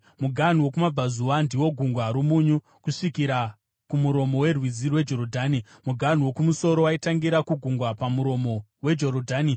Muganhu wokumabvazuva ndiwo Gungwa roMunyu kusvikira kumuromo werwizi rweJorodhani. Muganhu wokumusoro waitangira kugungwa pamuromo weJorodhani,